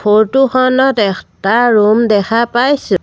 Photo খনত এখটা room দেখা পাইছোঁ।